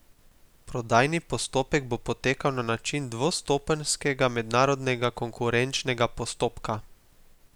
Prodajni postopek bo potekal na način dvostopenjskega mednarodnega konkurenčnega postopka.